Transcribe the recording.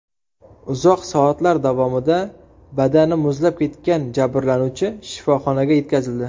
Uzoq soatlar davomida badani muzlab ketgan jabrlanuvchi shifoxonaga yetkazildi.